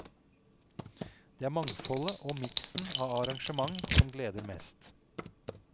Det er mangfoldet og miksen av arrangement som gleder mest.